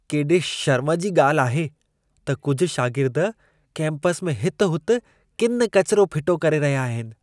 केॾे शर्म जी ॻाल्हि आहे त कुझु शागिर्द केम्पस में हित हुत किन किचिरो फिटो करे रहिया आहिनि।